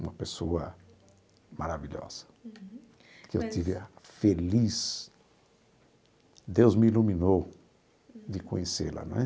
Uma pessoa maravilhosa, que eu tive a feliz... Deus me iluminou de conhecê-la, não é?